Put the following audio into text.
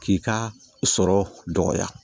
K'i ka sɔrɔ dɔgɔya